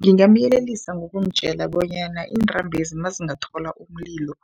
Ngingamyelelisa ngokumtjela bonyana iintambo lezi, nazingathola umlilo